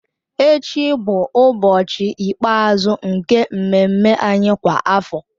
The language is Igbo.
Echi bụ ụbọchị ikpeazụ nke mmemme anyị kwa afọ